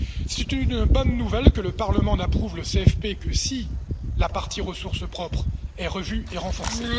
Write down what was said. C'est une bonne nouvelle que le Parlement n'approuve le CFP que si la partie ressources propres est revue et renforcée.